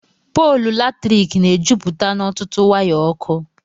Pọọlụ Latrịkị Na - Ejụpụte N' Ọtụtụ Waya Ọkụ